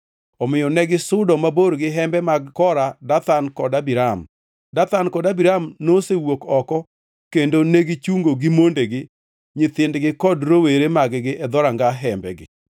Omiyo negisudo mabor gi hembe mag Kora, Dathan kod Abiram. Dathan kod Abiram nosewuok oko kendo negichungo gi mondegi, nyithindgi kod rowere mag-gi e dhoranga hembegi.